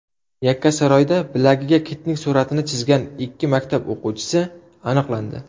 Yakkasaroyda bilagiga kitning suratini chizgan ikki maktab o‘quvchisi aniqlandi .